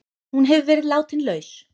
Hún hefur verið látin laus